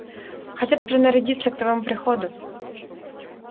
хотят принарядиться к твоему приходу